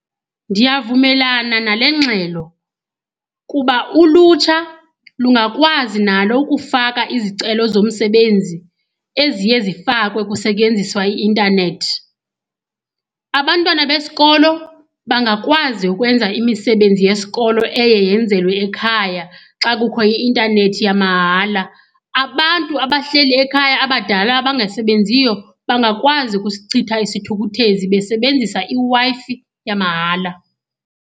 Ndiyavumelana nale ngxelo kuba ulutsha lungakwazi nalo ukufaka izicelo zomsebenzi eziye zifakwe kusetyenziswa i-intanethi. Abantwana besikolo bangakwazi ukwenza imisebenzi yesikolo eye yenzelwe ekhaya xa kukho i-intanethi yamahala. Abantu abahleli ekhaya abadala abangasebenziyo bangakwazi ukusichitha isithukuthezi besebenzisa iWi-Fi yamahala.